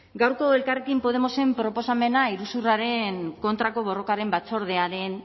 gaurko elkarrekin podemosen proposamena iruzurraren kontrako borrokaren batzordearen